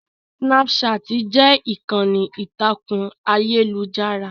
Snapchat jẹ́ ìkànnì ìtàkùn ayélujára